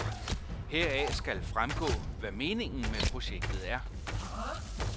Heraf skal fremgå, hvad meningen med projektet er.